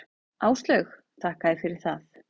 Áslaug: Þakka þér fyrir það.